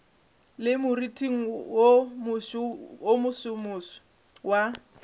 le moriting wo mosomoso wa